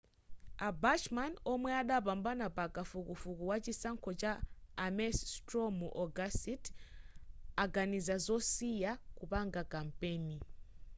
a bachmann omwe adapambana pa kafukufuku wa chisankho cha ames straw mu ogasiti aganiza zosiya kupanga kampeni